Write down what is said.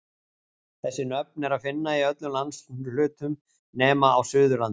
Þessi nöfn er að finna í öllum landshlutum nema á Suðurlandi.